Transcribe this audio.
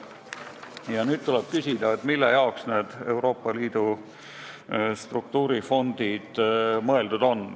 Ja nüüd tuleb küsida, mille jaoks need Euroopa Liidu struktuurifondid mõeldud on.